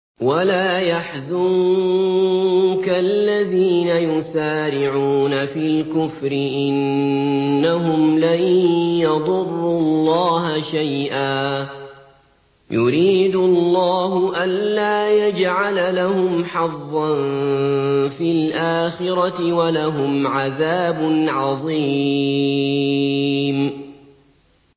وَلَا يَحْزُنكَ الَّذِينَ يُسَارِعُونَ فِي الْكُفْرِ ۚ إِنَّهُمْ لَن يَضُرُّوا اللَّهَ شَيْئًا ۗ يُرِيدُ اللَّهُ أَلَّا يَجْعَلَ لَهُمْ حَظًّا فِي الْآخِرَةِ ۖ وَلَهُمْ عَذَابٌ عَظِيمٌ